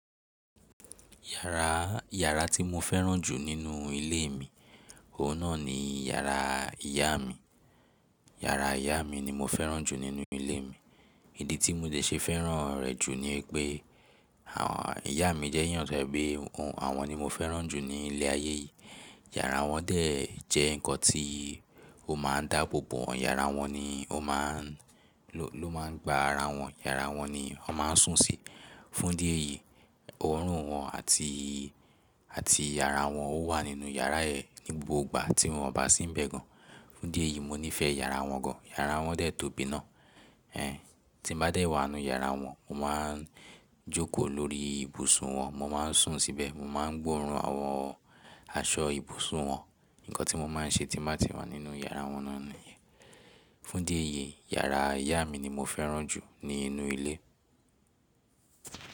Yàrá, yàrá tí mo fẹ́ràn jù nínú ilé mi, òun náà ni yàrá ìyá mi. Yàrá ìyá mi ni mo fẹ́ràn jù nínú ilé mi. Ìdí tí mo de ṣe fẹ́ràn rẹ̀ jù ni pé àwọn, ìyá mi jẹ́ eeyàn to jẹ pẹ́, àwọn ni mo fẹ́ràn jù ní ilé ayé yìí. Yàrá wọn dẹ̀ jẹ́ nǹkan tí ó máa ń dáàbò bò. Yàrá wọn ni ó máà ń, ló, ló máa ń gba ara wọn. Yàrá wọn ni wọ́n máa ń sùn sí. Fún idí ẹ̀yì, ọorùn wọn àti, àti àrá wọn ó wà nínú yàrá yẹn ní gbogbo ìgbà tí wọ́n ò bá sí ń bẹ̀ gan. Fún idí ẹ̀yí mo nífẹ̀ẹ́ yàrá wọn gan. Yàrá wọn dẹ̀ tó bí iná. Ẹn, tí n bá dẹ̀ wà n nú yàrá wọn, mo máa ń jókòó lórí ibùsùn wọn, mo máa ń sùn síbẹ̀, mo máa ń gbóòórùn àwọn aṣọ ibùsùn wọn. Ǹǹkan tí mo máa ń ṣe tí màá ti wà nínú yàrá wọn náà ni. Fún idí ẹ̀yí, yàrá ìyá mi ni mo fẹ́ràn jù nínú ilé.